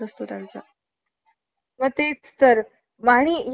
अटीवर परवानगी देण्यास सुरवात केली आहे.